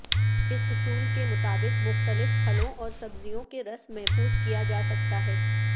اس اصول کے مطابق مختلف پھلوں اور سبزیوں کے رس محفوظ کیا جا سکتا ہے